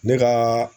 Ne ka